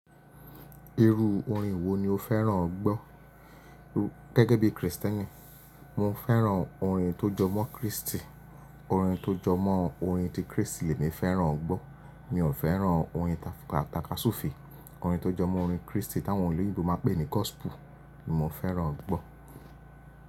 Irú orin wo ni o fẹ́ràn gbọ́? Gẹ́gẹ́ bí Kristẹni, mo fẹ́ràn orin tó jọmọ́ Kristì, orin tó jọmọ́ orin ti Kristì ni mi fẹ́ràn gbọ́. Mi ò fẹ́ràn orin tatàtàkà Súfe. Orin tó jọmọ́ orin Kristì tí àwọn oloyinbo máa ń pè ní gospel ni mo fẹ́ràn gbọ́.